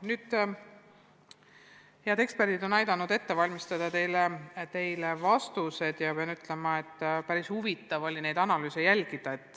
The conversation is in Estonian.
Head eksperdid on aidanud vastused teile ette valmistada ja pean ütlema, et päris huvitav oli neid analüüse jälgida.